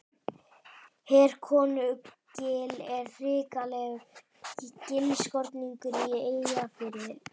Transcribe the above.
Herkonugil er hrikalegur gilskorningur í Eyjafirði.